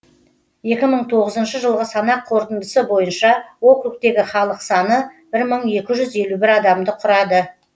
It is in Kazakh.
екі мың тоғызыншы жылғы санақ қорытындысы бойынша округтегі халық саны мың екі жүз елу бір адамды құрады